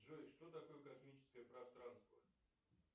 джой что такое космическое пространство